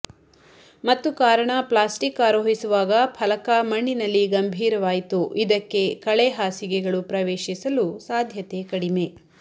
ಮತ್ತು ಕಾರಣ ಪ್ಲಾಸ್ಟಿಕ್ ಆರೋಹಿಸುವಾಗ ಫಲಕ ಮಣ್ಣಿನಲ್ಲಿ ಗಂಭೀರವಾಯಿತು ಇದಕ್ಕೆ ಕಳೆ ಹಾಸಿಗೆಗಳು ಪ್ರವೇಶಿಸಲು ಸಾಧ್ಯತೆ ಕಡಿಮೆ